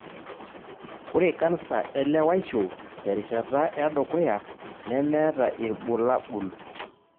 Ore kansa elewaisho terishata edukuya nemeeta ilbulabul.